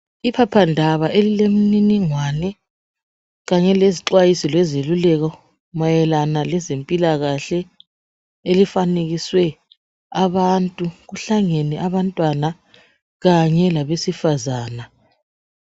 Iphaphandaba elilemininingwane kanye lezixwayiso lezeluleko mayelana lezempilakahle elifanekiswe abantu kuhlangene abantwana kanye labesifazana.